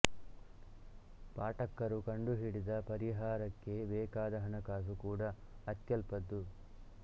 ಪಾಠಕ್ಕರು ಕಂಡು ಹಿಡಿದ ಪರಿಹಾರಕ್ಕೆ ಬೇಕಾದ ಹಣಕಾಸು ಕೂಡಾ ಅತ್ಯಲ್ಪದ್ದು